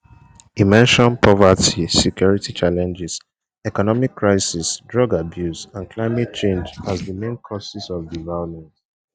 e mention poverty security challenges economic crisis drug abuse and climate change as di main causes of di violence